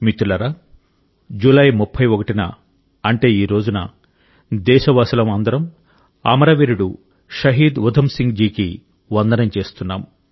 మిత్రులారా జులై 31న అంటే ఈ రోజున దేశవాసులం అందరం అమరవీరుడు షహీద్ ఉధమ్ సింగ్ జీకి వందనం చేస్తున్నాం